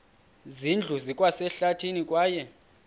zindlu zikwasehlathini kwaye